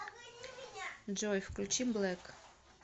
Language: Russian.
джой включи блэк